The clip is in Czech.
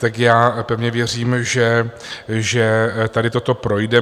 Tak já pevně věřím, že tady toto projde.